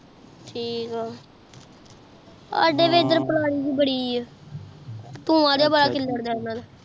ਥੁਕ ਆਹ ਸਾਡੇ ਐਡਰ ਏ ਬਾਦੀ ਆਹ ਬੁਆ ਨੇ ਬੜਾ ਖਿੱਲਰ ਦਾ ਹੈ